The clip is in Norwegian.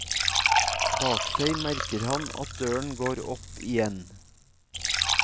Bak seg merker han at døren går opp igjen.